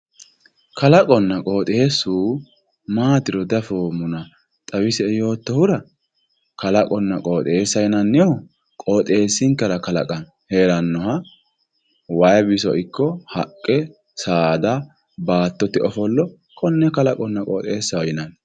kalaqonna qooxeessu maatiro diafoommona xawisie yoottohura kalaqonna qooxeessa yinannihu qooxeessinkera kalaqame heerannoha wayii biso ikko haqqe saada baattote ofollo konne kalaqonna qooxeessaho yinanni.